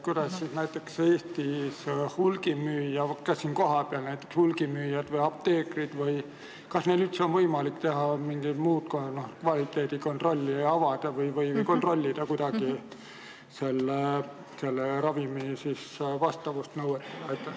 Kas näiteks Eestis, ka siin kohapeal näiteks, on hulgimüüjatel või apteekritel üldse võimalik teha mingit muud kvaliteedikontrolli, pakendeid avada või kontrollida ravimi vastavust nõuetele?